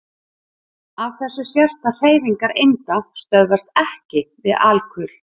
Af þessu sést að hreyfingar einda stöðvast EKKI við alkul.